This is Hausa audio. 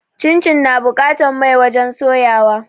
Cincin na buƙatan mai wajen soya wa